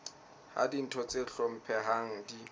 ha ditho tse hlomphehang di